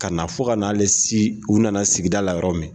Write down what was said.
Ka na fo ka n'ale se u na na sigida la yɔrɔ min.